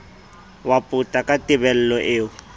wa pota ke tebello eo